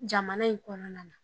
Jamana in kɔnɔna na